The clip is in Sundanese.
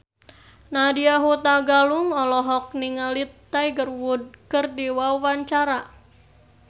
Nadya Hutagalung olohok ningali Tiger Wood keur diwawancara